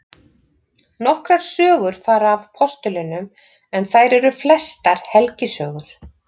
Nokkrar sögur fara af postulunum en þær eru flestar helgisögur.